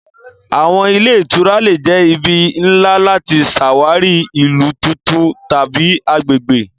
Awọn ile itura le jẹ ibi nla lati ṣawari ilu tuntun tabi agbegbe.